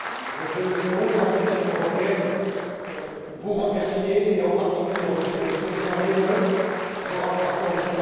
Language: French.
Je veux, au nom de la Commission européenne, vous remercier et, en particulier, remercier le président Lehne, vos rapporteurs MM.